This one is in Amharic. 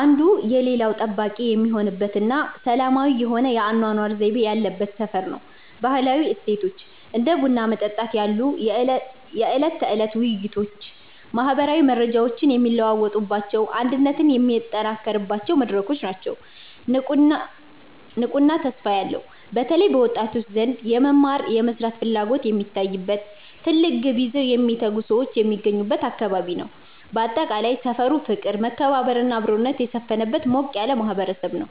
አንዱ የሌላው ጠባቂ የሚሆንበትና ሰላማዊ የሆነ የአኗኗር ዘይቤ ያለበት ሰፈር ነው። ባህላዊ እሴቶች፦ እንደ ቡና መጠጣት ያሉ የዕለት ተዕለት ውይይቶች ማህበራዊ መረጃዎች የሚለዋወጡባቸውና አንድነት የሚጠናከርባቸው መድረኮች ናቸው። ንቁና ተስፋ ያለው፦ በተለይ በወጣቶች ዘንድ የመማርና የመስራት ፍላጎት የሚታይበት፣ ትልቅ ግብ ይዘው የሚተጉ ሰዎች የሚገኙበት አካባቢ ነው። ባጠቃላይ፣ ሰፈሩ ፍቅር፣ መከባበርና አብሮነት የሰፈነበት ሞቅ ያለ ማህበረሰብ ነው።